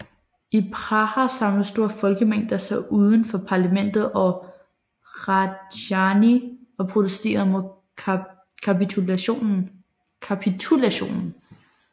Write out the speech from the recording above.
I Praha samlede store folkemængder sig uden for parlamentet og Hradčany og protesterede mod kapitulationen